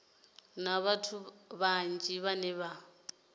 na vhathu vhanzhi vhane vha